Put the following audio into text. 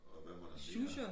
Og hvad var der mere